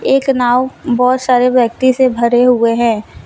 एक नाव बहुत सारे व्यक्ति से भरे हुए हैं।